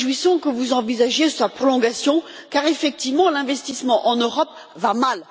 Nous nous réjouissons que vous envisagiez sa prolongation car, effectivement, l'investissement en Europe va mal.